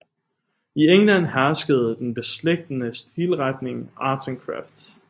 I England herskede den beslægtede stilretning Arts and Crafts